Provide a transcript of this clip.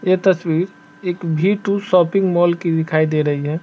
ये तस्वीर एक वी टू शॉपिंग मॉल की दिखाई दे रही है ।